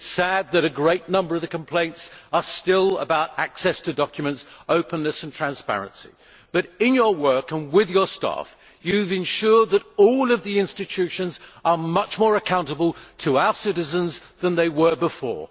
it is sad that a great number of the complaints are still about access to documents, openness and transparency. But in your work and with your staff, you have ensured that all of the institutions are much more accountable to our citizens than they were before.